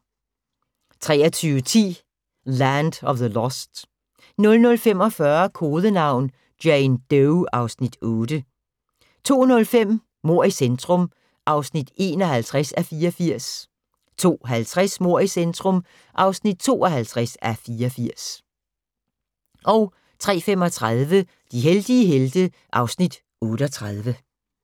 23:10: Land of the Lost 00:45: Kodenavn: Jane Doe (Afs. 8) 02:05: Mord i centrum (51:84) 02:50: Mord i centrum (52:84) 03:35: De heldige helte (Afs. 38)